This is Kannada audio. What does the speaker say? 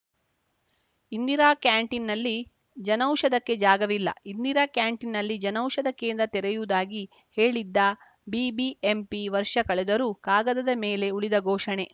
ಇಂದಿರಾ ಕ್ಯಾಂಟೀನಲ್ಲಿ ಜನೌಷಧಕ್ಕೆ ಜಾಗವಿಲ್ಲ ಇಂದಿರಾ ಕ್ಯಾಂಟೀನ್‌ನಲ್ಲಿ ಜನೌಷಧ ಕೇಂದ್ರ ತೆರೆಯುವುದಾಗಿ ಹೇಳಿದ್ದ ಬಿಬಿಎಂಪಿ ವರ್ಷ ಕಳೆದರೂ ಕಾಗದದ ಮೇಲೆ ಉಳಿದ ಘೋಷಣೆ